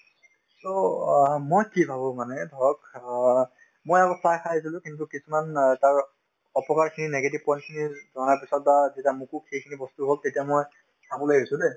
so, অ মই কি ভাবো মানে ধৰক অ মই আগত চাহ খাই আছিলো কিন্তু কিছুমান অ অপকাৰখিনি negative point খিনিৰ ধৰাৰ পিছত বা যেতিয়া মোকো সেইখিনি বস্তু হল তেতিয়া মই খাবলৈ এৰিছো দে